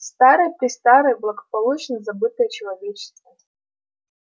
старое-престарое благополучно забытое человечеством